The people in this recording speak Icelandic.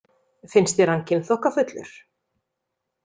Finnst þér hann kynþokkafullur?